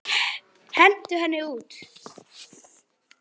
Hins vegar var orðið áliðið.